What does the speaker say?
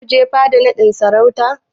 Za ku je fada naɗin sarautar?